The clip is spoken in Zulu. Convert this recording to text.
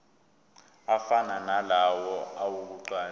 afana nalawo awokuqala